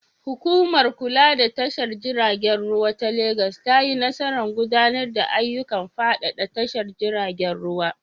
Hukumar kula da tashar jiragen ruwa ta Legas ta yi nasarar gudanar da ayyukan faɗaɗa tashar jiragen ruwa.